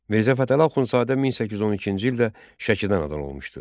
Mirzə Fətəli Axundzadə 1812-ci ildə Şəkidə anadan olmuşdu.